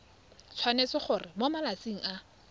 tshwanetse gore mo malatsing a